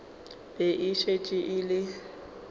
be e šetše e le